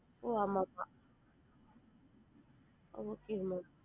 ஓ ஆமா இருக்கு okay ma'am